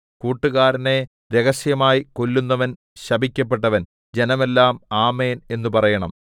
കൂട്ടുകാരനെ രഹസ്യമായി കൊല്ലുന്നവൻ ശപിക്കപ്പെട്ടവൻ ജനമെല്ലാം ആമേൻ എന്നു പറയണം